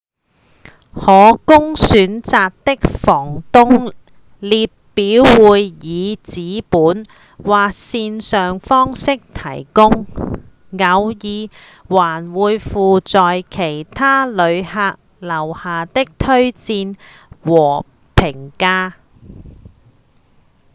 可供選擇的房東列表會以紙本或線上方式提供偶爾還會附有其他旅客留下的推薦和評價